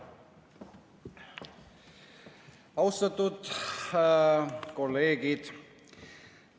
Austatud kolleegid!